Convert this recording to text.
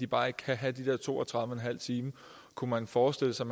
bare ikke kan have de der to og tredive en halv time kunne man forestille sig